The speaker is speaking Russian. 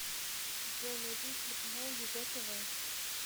джой найди телеканал егэ тв